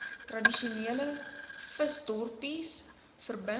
tradisionele visdorpies verbind